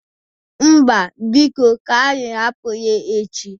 Mba, biko. Ka anyị hapụ ya echi.